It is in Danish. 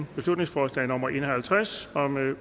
beslutningsforslag nummer b en og halvtreds